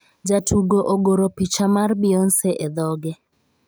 Jatugo ogoro picha mar Beyonce e dhoge